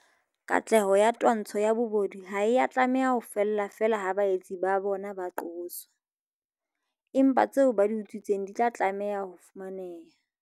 Katleho ya twantsho ya bobodu ha e a tlameha ho fella feela ha baetsi ba bona ba qoswa, empa tseo ba di utswitseng di tla tlameha ho fumaneha.